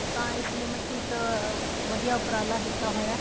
ਤਾਂ ਇਸ ਲਈ ਮਤਲਬ ਕੀ ਇੱਕ ਵਧੀਆ ਉੱਪਰਾਲਾ ਕੀਤਾ ਹੋਇਆ ਹੈ